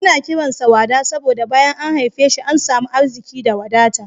Ana kiran sa Wada saboda bayan an haife shi an samu arziki da wadata.